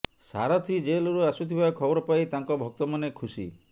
ସାରଥୀ ଜେଲରୁ ଆସୁଥିବା ଖବର ପାଇ ତାଙ୍କ ଭକ୍ତମାନେ ଖୁସି